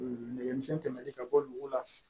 Nɛgɛmisɛn tɛmɛnin ka bɔ dugu la